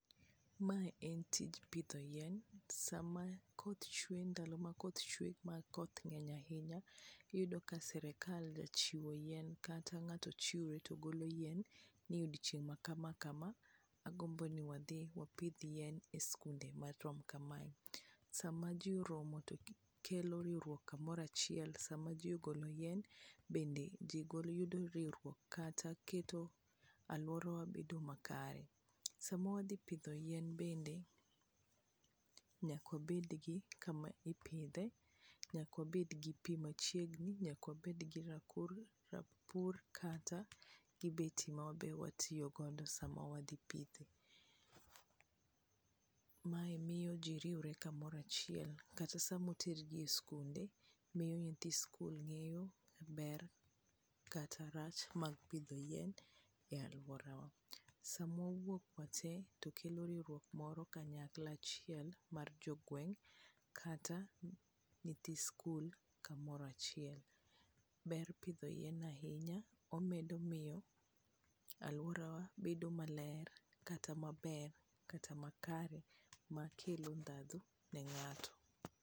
Mae en tij pidho yien, sama koth chwe ndalo makoth chwe makoth ng'eny ahinya iyudo ka sirikal jachiwo chien kata ng'ato chiwre to golo yien ni odiochieng' ma kama kama, agombo ni wadhi wapidh yien e skunde marom kamae. Sama ji oromo tokelo riwruok kamoro achiel sama ji ogolo yien, bende ji yudo riwruok kata kelo alworawa bedo makare. Sama wadhi pidho yien bende nyaka wabed gi kama ipidhe, nyaka wabed gi pi machiegni ,nyaka waned gi rapur kata gi beti ma wabe watiyo godo sama wadhi pithe. Mae miyo ji riwre kamoro achiel kata sama oter ji e skunde, miyo nyithi skul ng'eyo ber kata rach mag pidho yien e alworawa. Sama wawuok wate to kelo riwruok moro kanyakla achiel mar jogweng' kata nyithi skul kamoro achiel. Ber pidho yien ahinya, omedo miyo alworawa bedo maler kata maber kata makare, makelo ndhadhu ne ng'ato.